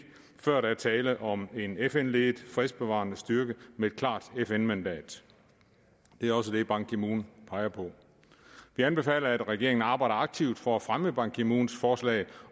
før der er tale om en fn ledet fredsbevarende styrke med et klart fn mandat det er også det ban ki moon peger på vi anbefaler at regeringen arbejder aktivt for at fremme ban ki moons forslag